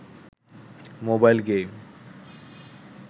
mobile game